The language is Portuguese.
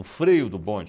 O freio do bonde.